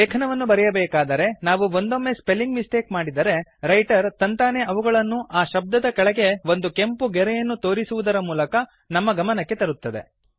ಲೇಖನವನ್ನು ಬರೆಯಬೇಕಾದರೆ ನಾವು ಒಂದೊಮ್ಮೆ ಸ್ಪೆಲ್ಲಿಂಗ್ ಮಿಸ್ಟೇಕ್ ಮಾಡಿದರೆ ರೈಟರ್ ತಂತಾನೇ ಅವುಗಳನ್ನು ಆ ಶಬ್ದದ ಕೆಳಗೆ ಒಂದು ಕೆಂಪು ಗೆರೆಯನ್ನು ತೋರಿಸುವುದರ ಮೂಲಕ ನಮ್ಮ ಗಮನಕ್ಕೆ ತರುತ್ತದೆ